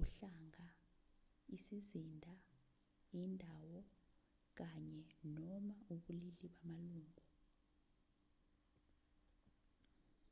uhlanga isizinda indawo kanye/noma ubulili bamalungu